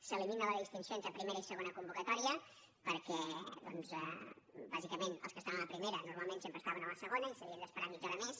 s’elimina la distinció entre primera i segona convocatòria perquè bàsicament els que estaven a la primera normalment sempre estaven a la segona i s’havien d’esperar mitja hora més